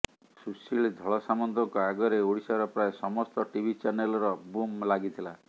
ସୁଶୀଳ ଧଳସାମନ୍ତଙ୍କ ଆଗରେ ଓଡ଼ିଶାର ପ୍ରାୟ ସମସ୍ତ ଟିଭି ଚ୍ୟାନେଲର ବୁମ୍ ଲାଗିଥିଲା